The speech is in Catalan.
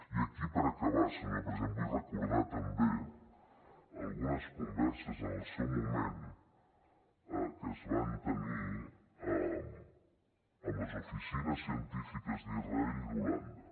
i aquí per acabar senyor president vull recordar també algunes converses en el seu moment que es van tenir amb les oficines científiques d’israel i d’holanda